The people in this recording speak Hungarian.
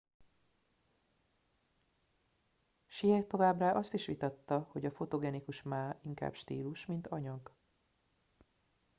hsieh továbbá azt is vitatta hogy a fotogenikus ma inkább stílus mint anyag